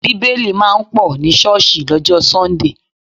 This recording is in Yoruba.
Bíbélì máa ń pọ̀ ní ṣọ́ọ̀sì lọ́jọ́ sọ́ńdè